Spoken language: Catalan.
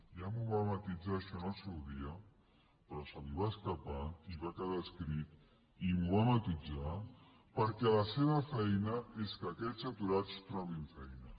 ja m’ho va matisar això en el seu dia però se li va escapar i va quedar escrit i m’ho va matisar perquè la seva feina és que aquests aturats trobin feina